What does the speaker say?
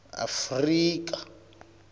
afrika